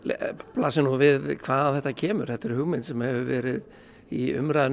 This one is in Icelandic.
blasir við hvaðan þetta kemur þetta er hugmynd sem hefur verið í umræðunni